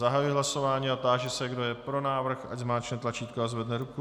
Zahajuji hlasování a táži se, kdo je pro návrh, ať zmáčkne tlačítko a zvedne ruku.